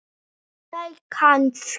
nei kannski